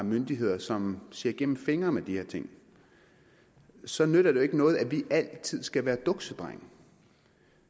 myndigheder som ser igennem fingre med de her ting så nytter det jo ikke noget at vi altid skal være duksedrenge